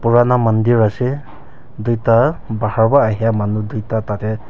purana mandir ase tuita bahar wa ahya manu tuita tatae.